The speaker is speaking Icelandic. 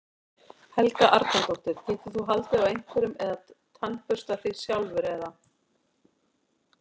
Helga Arnardóttir: Getur þú haldið á einhverju eða tannburstað þig sjálfur eða?